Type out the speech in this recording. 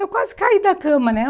Eu quase caí da cama, né?